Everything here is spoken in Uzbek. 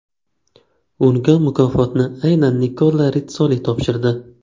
Unga mukofotni aynan Nikola Ritssoli topshirdi.